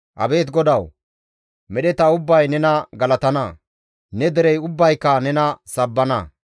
Abeet GODAWU! medheta ubbay nena galatana; ne derey ubbayka nena sabbana.